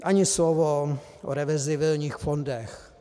Ani slovo o reverzibilních fondech.